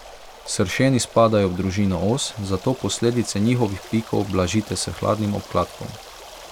Sršeni spadajo v družino os, zato posledice njihovih pikov blažite s hladnim obkladkom.